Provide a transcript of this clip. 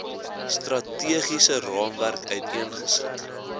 strategiese raamwerk uiteengesit